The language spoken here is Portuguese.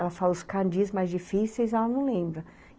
Ela fala os mais difíceis, ela não lembra.